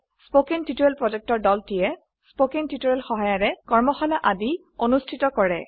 কথন শিক্ষণ প্ৰকল্পৰ দলটিয়ে কথন শিক্ষণ সহায়িকাৰে কৰ্মশালা আদি অনুষ্ঠিত কৰে